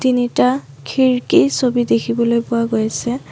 তিনিটা খিৰিকী ছবি দেখিবলৈ পোৱা গৈছে।